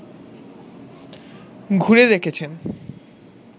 ঘুরে দেখেছেন